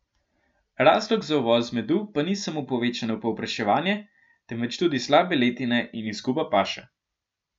Razlog za uvoz medu pa ni samo povečano povpraševanje, temveč tudi slabe letine in izguba paše.